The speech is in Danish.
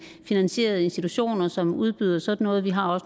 finansierede institutioner som udbyder sådan noget og vi har